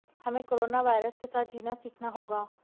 हमें corona virus के साथ जीना सीखना होगा